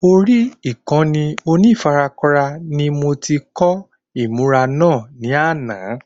Orí Ìkànnì onífarakínra ni mo ti kọ́ ìmùra náà ní àná